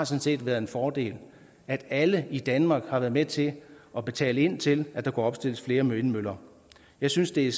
set været en fordel alle i danmark har været med til at betale ind til at der kunne opstilles flere vindmøller jeg synes det